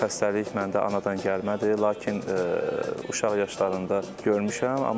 Bu xəstəlik məndə anadan gəlmədir, lakin uşaq yaşlarında görmüşəm.